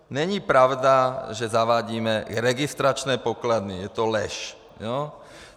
Není pravda, že zavádíme registrační pokladny, je to lež!